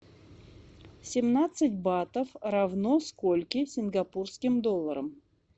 семнадцать батов равно скольки сингапурским долларам